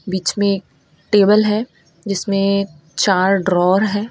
बीच में टेबल है जिसने चार ड्रॉवर है।